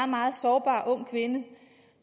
meget sårbar ung kvinde